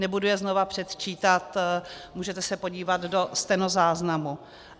Nebudu je znovu předčítat, můžete se podívat do stenozáznamu.